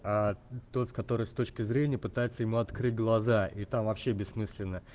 тот который с точки зрения пытается ему открыть глаза и там вообще бессмысленно